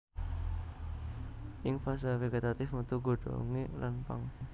Ing fase vegetatif metu godhongé lan pang